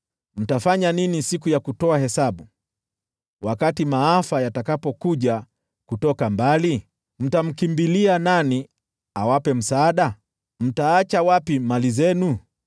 Mtafanya nini siku ya kutoa hesabu, wakati maafa yatakapokuja kutoka mbali? Mtamkimbilia nani awape msaada? Mtaacha wapi mali zenu?